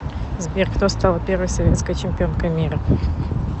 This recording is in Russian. сбер кто стала первой советской чемпионкой мира